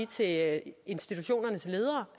til at institutionernes ledere